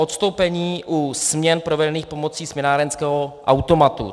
Odstoupení u směn provedených pomocí směnárenského automatu.